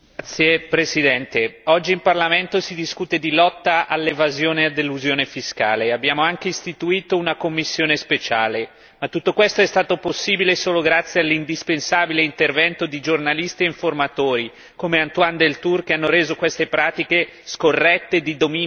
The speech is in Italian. Signor Presidente, onorevoli colleghi, oggi in Parlamento si discute di lotta all'evasione e all'elusione fiscale e abbiamo anche istituito una commissione speciale, ma tutto questo è stato possibile solo grazie all'indispensabile intervento di giornalisti e informatori, come Antoine Deltour, che hanno reso queste pratiche scorrette di dominio pubblico.